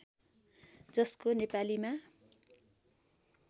जसको नेपालीमा